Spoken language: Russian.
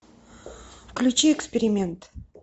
включи эксперимент